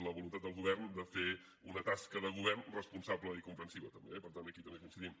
la voluntat del govern de fer una tasca de govern responsable i comprensiva també eh per tant aquí també coincidim